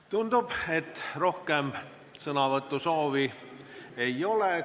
Tundub, et rohkem sõnavõtusoovi ei ole.